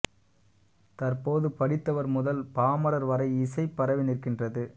தற்போது படித்தவர் முதல் பாமரர் வரை இசை பரவி நிற்கின்றது